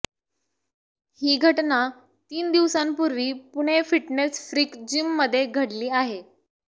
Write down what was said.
ही घटना तीन दिवसांपूर्वी पुणे फिटनेस फ्रिक जीममध्ये घडली आहे